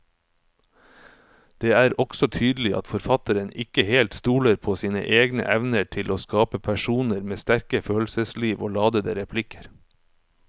Det er også tydelig at forfatteren ikke helt stoler på sine egne evner til å skape personer med sterke følelsesliv og ladete replikker.